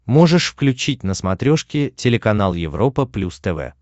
можешь включить на смотрешке телеканал европа плюс тв